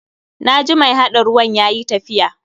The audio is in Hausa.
Na ji mai haɗa ruwan yayi tafiya.